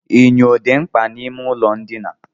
Enyo dị mkpa n'ime ụlọ ndina.